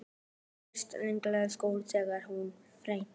Þú varst eiginlega sköllóttur þegar þú fæddist.